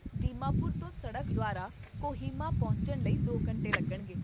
ਦੀਮਾਪੁਰ ਤੋਂ, ਸੜਕ ਦੁਆਰਾ ਕੋਹਿਮਾ ਪਹੁੰਚਣ ਲਈ ਦੋ ਘੰਟੇ ਲੱਗਣਗੇ